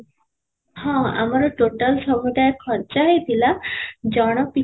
ହଁ, ଆମର total ସମୁଦାୟ ଖର୍ଚ୍ଚ ହେଇଥିଲା ଜଣ ପିଛା